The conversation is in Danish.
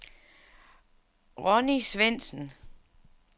Ronni Svendsen